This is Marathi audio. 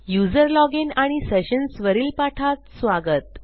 यूझर लॉजिन आणि सेशन्स वरील पाठात स्वागत